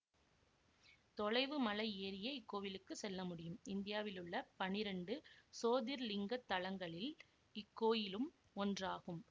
தொலைவு மலை ஏறியே இக்கோயிலுக்கு செல்ல முடியும் இந்தியாவிலுள்ள பன்னிரெண்டு சோதிர்லிங்கத் தலங்களில் இக்கோயிலும் ஒன்றாகும்